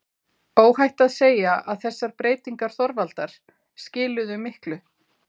Óhætt að segja að þessar breytingar Þorvaldar skiluðu miklu.